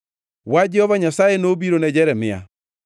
Wach Jehova Nyasaye nobiro ne Jeremia: